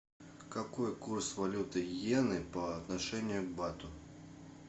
какой курс валюты йены по отношению к бату